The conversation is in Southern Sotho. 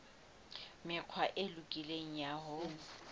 mekgwa e lokileng ya ho